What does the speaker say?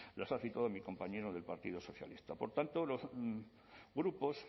las ha citado mi compañero del partido socialista por tanto los grupos